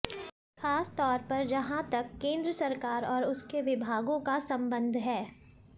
खासतौर पर जहां तक केंद्र सरकार और उसके विभागों का संबंध है